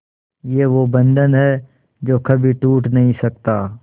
ये वो बंधन है जो कभी टूट नही सकता